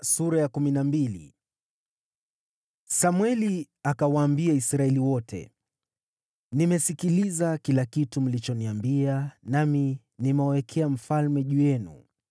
Samweli akawaambia Israeli wote, “Nimesikiliza kila kitu mlichoniambia nami nimewawekea mfalme juu yenu.